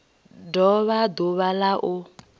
do vha ḓuvha la u